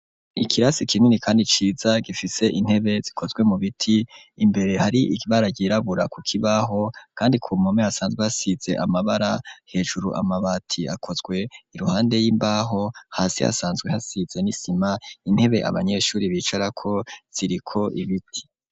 Ikirasi kinini kandi ciza gifise intebe zikozwe mu biti imbere hari ibara ryirabura ku kibaho kandi ku mpome hasanzwe hasize amabara hejuru amabati akozwe iruhande y'imbaho hasi hasanzwe hasize n'isima intebe abanyeshuri bicara ko ziriko ibiti.